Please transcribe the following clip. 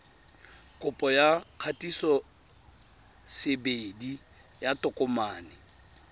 kopo ya kgatisosebedi ya tokomane